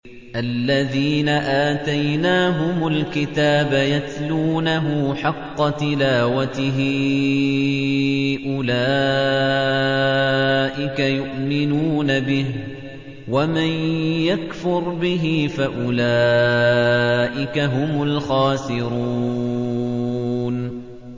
الَّذِينَ آتَيْنَاهُمُ الْكِتَابَ يَتْلُونَهُ حَقَّ تِلَاوَتِهِ أُولَٰئِكَ يُؤْمِنُونَ بِهِ ۗ وَمَن يَكْفُرْ بِهِ فَأُولَٰئِكَ هُمُ الْخَاسِرُونَ